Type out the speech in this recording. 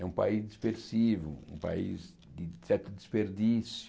É um país dispersivo, um país de certo desperdício.